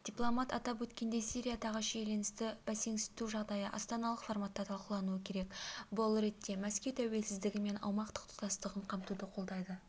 дипломат атап өткендей сириядағы шиеленісті бәсеңсіту жағдайы астаналық форматта талқылануы керек бұл реттемәскеу тәуелсіздігі мен аумақтық тұтастығын қамтуды қолдайды